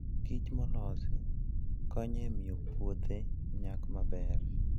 kich molos konyo e miyo puothe nyak maber.